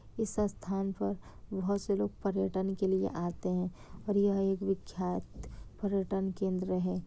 इस स्थान पर बहोत से लोग पर्यटन के लिए आते है और यह एक विख्यात पर्यटन केंद्र है।